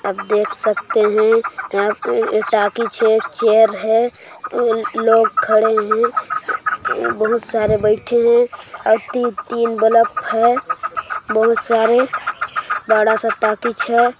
आप देख सकते है यहाँ पे टाकीज है चेयर है लोग खड़े है बहुत सारे बैठे है और तीन बल्ब है बहुत सरे बड़ा सा टाकीज है।